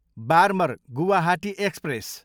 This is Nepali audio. बार्मर, गुवाहाटी एक्सप्रेस